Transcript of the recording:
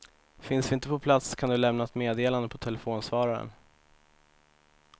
Finns vi inte på plats kan du lämna ett meddelande på telefonsvararen.